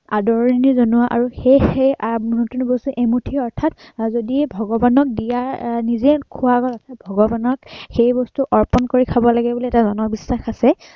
আদৰণি জনোৱা আৰু সেই সেই নতুন বছৰত এমুঠি অৰ্থাৎ আহ যদি ভগৱানক দিয়া আহ নিজেই খোৱাৰ আগতে অৰ্থাৎ ভগৱানক সেই বস্তু অৰ্পন কৰি থব লাগে বুলি এটা জনবিশ্বাস আছে।